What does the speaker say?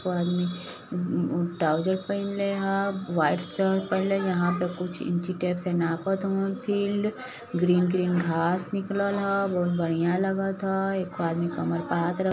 एगो आदमी उम्म तावुजर पहिनले ह व्हाइट शर्ट पहने ह। यहां पे कुछ इंची टेप से नापत हवन फील्ड । ग्रीन ग्रीन घास निकलल ह बहुत बढ़िया लागत ह। एक ठो आदमी कमर पर हाथ--